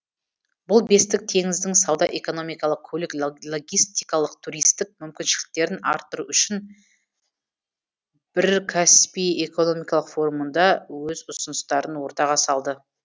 бұл бестік теңіздің сауда экономикалық көлік логистикалық туристік мүмкіншіліктерін арттыру үшін бір каспий экономикалық форумында өз ұсыныстарын ортаға салды